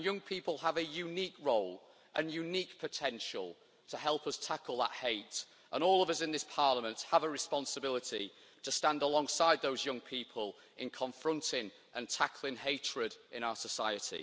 And young people have a unique role and unique potential to help us tackle that hate, and all of us in this Parliament have a responsibility to stand alongside those young people in confronting and tackling hatred in our society.